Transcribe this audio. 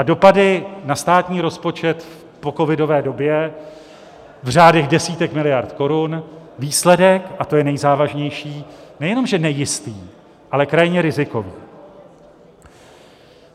A dopady na státní rozpočet v pocovidové době v řádech desítek miliard korun, výsledek, a to je nejzávažnější, nejenom že nejistý, ale krajně rizikový.